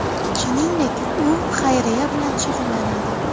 Shuningdek, u xayriya bilan shug‘ullanadi.